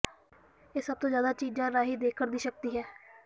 ਇਹ ਸਭ ਤੋਂ ਜ਼ਿਆਦਾ ਚੀਜ਼ਾਂ ਰਾਹੀਂ ਦੇਖਣ ਦੀ ਸ਼ਕਤੀ ਹੈ